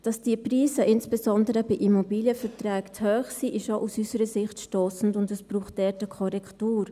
Dass die Preise insbesondere für Immobilienverträge zu hoch sind, ist auch aus unserer Sicht stossend, und es braucht dort eine Korrektur.